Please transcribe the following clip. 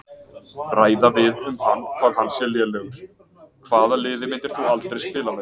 Ræða við um hann hvað hann sé lélegur Hvaða liði myndir þú aldrei spila með?